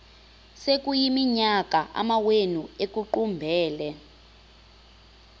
sekuyiminyaka amawenu ekuqumbele